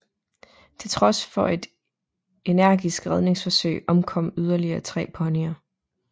Til trods for et energisk redningsforsøg omkom yderligere tre ponyer